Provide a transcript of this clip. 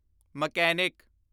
mechanic